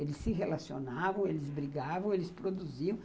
Eles se relacionavam, eles brigavam, eles produziam.